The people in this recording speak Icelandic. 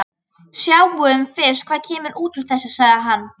Sjáum fyrst hvað kemur út úr þessu, sagði hann.